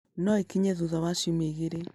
No ĩkinye thutha wa ciumia igĩrĩ